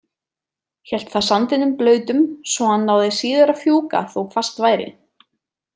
Hélt það sandinum blautum svo hann náði síður að fjúka þó hvasst væri.